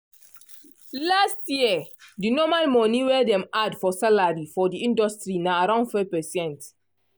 last year de normal monie wey dem add for salary for di industry na around 4%